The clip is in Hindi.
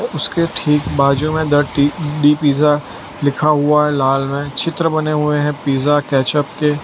उसके ठीक बाजू में द टी डी पिज्जा लिखा हुआ है लाल रंग चित्र बने हुए हैं पिज्जा कैचप के।